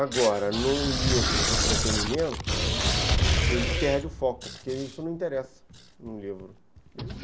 Agora, num livro de entretenimento, ele perde o foco, porque isso não interessa num livro.